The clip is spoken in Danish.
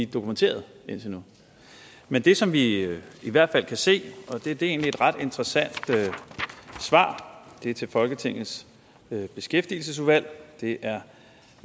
dokumentere den indtil nu men det som vi i hvert fald kan se er egentlig et ret interessant svar til folketingets beskæftigelsesudvalg og det er